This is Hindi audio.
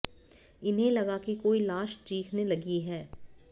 इन्हें लगा कि कोई लाश चीखने लगी है